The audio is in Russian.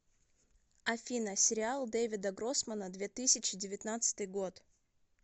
афина сериал дэвида гроссмана две тысячи девятнадцатый год